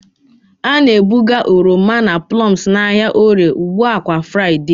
A na-ebuga oroma na plums n'ahịa Orie ugba kwa Fraịde.